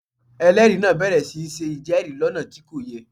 Ẹlẹ́rìí náà bẹ̀rẹ̀ sí í ṣe ìjẹ́rìí lọ́nà tí kò yẹ